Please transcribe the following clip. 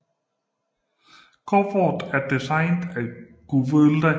Coveret er designet af Gyula Havancsák